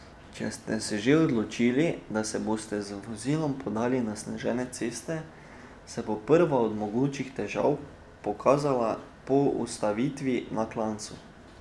Če ste se že odločili, da se boste z vozilom podali na zasnežene ceste, se bo prva od mogočih težav pokazala po ustavitvi na klancu.